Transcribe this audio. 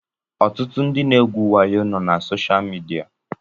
Ọtụtụ ndị na-egwu wayo nọ na soshaal midia